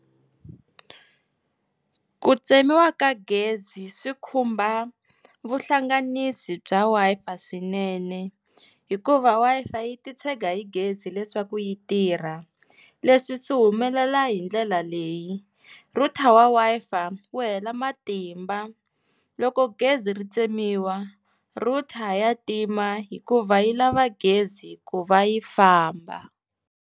Ku tsemiwa ka gezi swi khumba vuhlanganisi bya Wi-Fi swinene hikuva Wi-Fi yi titshega hi gezi leswaku yi tirha leswi swi humelela hi ndlela leyi router wa Wi-Fi wu hela matimba loko gezi ri tsemiwa router ya tima hikuva yi lava gezi ku va yi famba.